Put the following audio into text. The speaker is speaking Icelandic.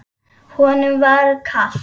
Honum var kalt.